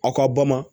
Aw ka bama